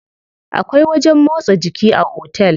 Akwai wajen motsa jiki a otel.